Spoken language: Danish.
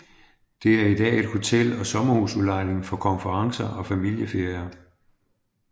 Det er i dag et hotel og sommerhusudlejning for konferencer og familieferier